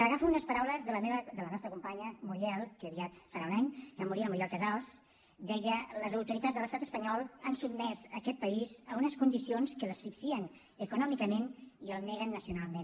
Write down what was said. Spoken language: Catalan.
agafo unes paraules de la nostra companya muriel que aviat farà un any que va morir la muriel casals deia les autoritats de l’estat espanyol han sotmès aquest país a unes condicions que l’asfixien econòmicament i el neguen nacionalment